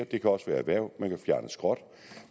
det kan også være erhverv man kan fjerne skrot